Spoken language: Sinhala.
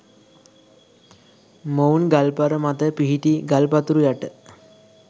මොවුන් ගල්පර මත පිහිටි ගල් පතුරු යට